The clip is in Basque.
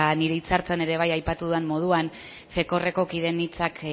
nire hitzartzean ere bai aipatu den moduan fekoorreko kideen hitzak